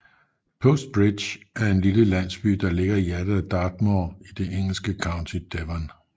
Postbridge er en lille landsby der ligger i hjertet af Dartmoor i det engelske county Devon